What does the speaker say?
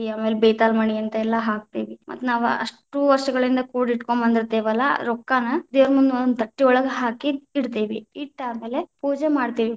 ಆಮೇಲೆ ಬೇತಾಲಮಣಿ ಅಂತೆಲ್ಲಾ ಹಾಕತೇವಿ, ಮತ್ತ ನಾವ್‌ ಅಷ್ಟು ವಷ೯ಗಳಿಂದ ಕೂಡಿಟ್ಕೊಂಡ್ ಬಂದಿತೇ೯ವಲ್ಲಾ ರೊಕ್ಕಾನ ದೇವ್ರಮುಂದ ಒಂದೊಂದ್ ತಟ್ಟೆಯೊಳಗ ಹಾಕಿ ಇಡತೇವಿ, ಇಟ್ಟ ಆಮೇಲೆ ಪೂಜೆ ಮಾಡ್ತೇವಿ.